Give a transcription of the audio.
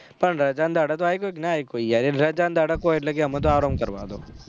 પણ રજા ના દહાડા આયી પાયે કે નહી આયી પાયે રજા ના દહાડા કહો એટલે કેહ અમે તો આરામ કરવા દો